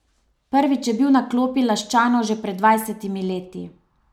Prvič je bil na klopi Laščanov že pred dvajsetimi leti.